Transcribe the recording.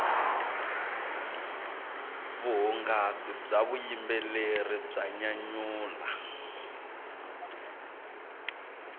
vuhungasi bya vuyimbeleri bya nyanyula